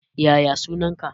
Yaya sunan ka?